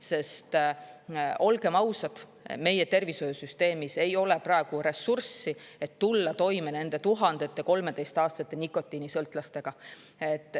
Sest, olgem ausad, meie tervishoiusüsteemis ei ole praegu ressurssi, et tulla toime nende tuhandete 13-aastaste nikotiinisõltlastega.